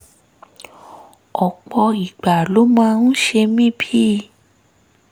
ọ̀pọ̀ ìgbà ló máa ń ṣe mí bíi